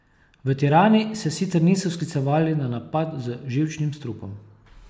V Tirani se sicer niso sklicevali na napad z živčnim strupom.